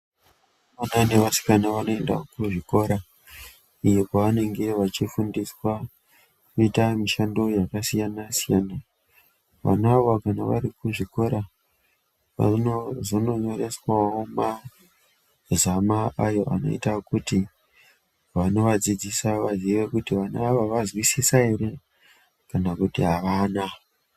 Vakomana nevasikana vanoendawo kuzvikora iyo kwavanenge vachifundiswa kuita mishando yakasiyanasiyana vana ava kana varikuzvikora vanozono nyoreswawo mazama ayo anoita kuti vanovadzidzisa vaziye kuti vana ava vazwisisa ere kana kuti avana.